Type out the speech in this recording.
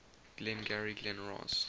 glengarry glen ross